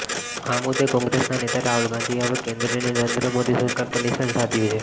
આ મુદ્દે કોંગ્રેસના નેતા રાહુલ ગાંધીએ હવે કેન્દ્રની નરેન્દ્ર મોદી સરકાર પર નિશાન સાધ્યું છે